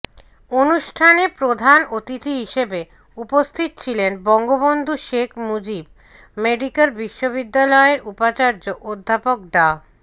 অনুষ্ঠানে প্রধান অতিথি হিসাবে উপস্থিত ছিলেন বঙ্গবন্ধু শেখ মুজিব মেডিক্যাল বিশ্ববিদ্যালয়ের উপাচার্য অধ্যাপক ডা